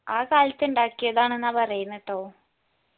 ആ കാലത്ത് ഇണ്ടാക്കിയതാണ്ന്ന പറയണേ ട്ടോ